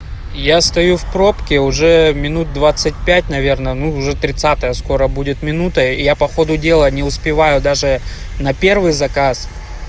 я стою в пробке уже минут двадцати пять наверное но уже тридцатая скоро будет минута и я по ходу дела не успеваю даже на первый заказ